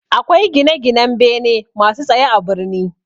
Akwai gine-ginan bene masu tsaye a birni.